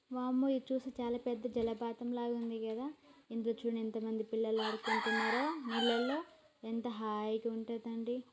వామ్మో ఇది చూస్తే చాలా పెద్ద జలపాతం లాగా ఉంది కదా ఇగో చూడు ఎంతమంది పిల్లలు ఆడుకుంటూన్నారో నీళ్ళల్లో ఎంత హాయి గుంటది అండి